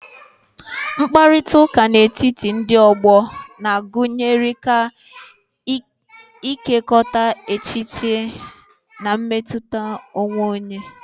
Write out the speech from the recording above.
Mkparịta ụka n'etiti ndị ọgbọ na-agụnyekarị ịkekọrịta echiche na mmetụta onwe onye.